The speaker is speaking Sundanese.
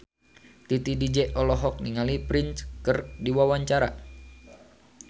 Titi DJ olohok ningali Prince keur diwawancara